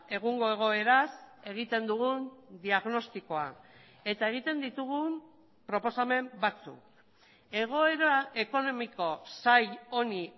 egungo egoeraz egiten dugun diagnostikoa eta egiten ditugun proposamen batzuk egoera ekonomiko zail honi